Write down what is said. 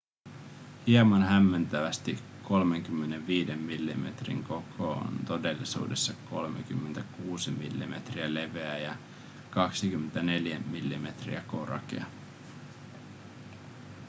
hieman hämmentävästi 35 millimetrin koko on todellisuudessa 36 mm leveä ja 24 mm korkea